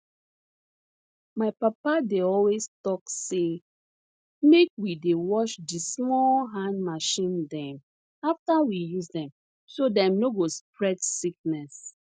my papa dey always tok say make we dey wash di small hand machine dem afta we use dem so dem no go spread sickness